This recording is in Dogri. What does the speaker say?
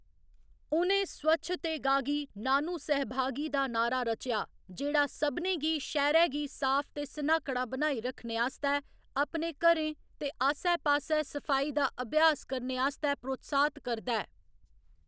उ'नें 'स्वच्छतेगागि नानु सहभागि' दा नारा रचेआ, जेह्‌‌ड़ा सभनें गी शैह्‌रै गी साफ ते सनाह्‌कड़ा बनाई रक्खने आस्तै अपने घरें ते आस्सै पास्सै सफाई दा अभ्यास करने आस्तै प्रोत्साहत करदा ऐ।